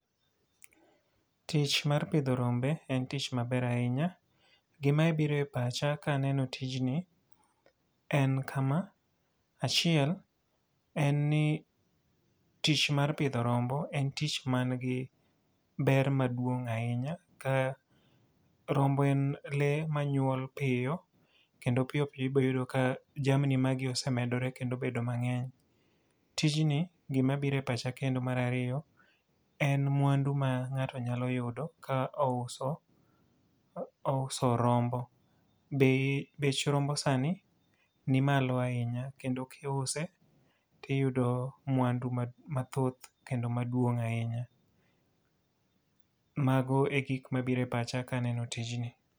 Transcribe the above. Tich mar pidho rombe en tich maber ahinya. Gima biro e pacha ka aneno tijni en kama: achiel, en ni tich mar pidho rombo en tich man gi ber maduong' ahinya ka rombo en le manyuol piyo kendo piyo piyo ibiro yudo ka jamni magi osemedore kendo obedo mangény. Tijni gima biro e pacha kendo mar ariyo, en mwandu ma ngáto nyalo yudo ka ouso, ouso rombo. Bei, Bech rombo sani ni malo ahinya, kendo kiuse to iyudo mwandu mathoth kendo maduong' ahinya. Mago e gik mabiro e pacha ka aneno tijni.